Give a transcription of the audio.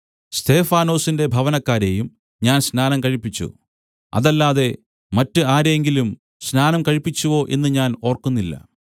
സ്തെഫാനാസിന്റെ ഭവനക്കാരെയും ഞാൻ സ്നാനം കഴിപ്പിച്ചു അതല്ലാതെ മറ്റ് ആരെയെങ്കിലും സ്നാനം കഴിപ്പിച്ചുവോ എന്ന് ഞാൻ ഓർക്കുന്നില്ല